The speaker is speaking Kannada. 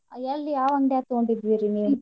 ಎಲ್ಲಿ ಯಾವ್ ಅಂಗ್ಡ್ಯಾ ಗ್ ತೂಗೋಂಡಿದ್ರಿ ನೀವು .